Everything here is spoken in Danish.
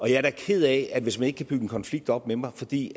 jeg er da ked af hvis man ikke kan bygge en konflikt op med mig fordi